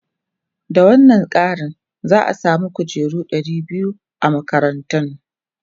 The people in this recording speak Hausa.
Da wannan kari, za a samu kujeru ɗari biyu a makarantun.